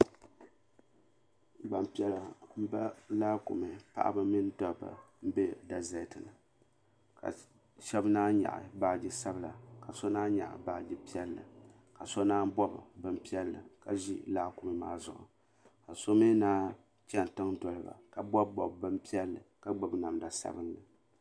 Gbampiɛla m ba laakumi paɣaba mini dobba m be deseti ni ka shɛba naanyi nyaɣi baagi sabla ka so naanyi nyaɣi baagi piɛlli ka so naanyi bobi bini piɛlli ka ʒi laakumi maa zuɣu ka so mi naanyi chɛni tiŋa n doli ba ka bobi bobi bini piɛlli ka gbibi namda sabinli.